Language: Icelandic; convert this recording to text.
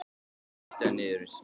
Svo girti hann niður um mig.